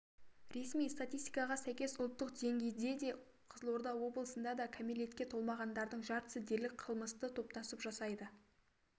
ресми статистикаға сәйкес ұлттық деңгейде де қызылорда облысында да кәмелетке толмағандардың жартысы дерлік қылмысты топтасып жасайды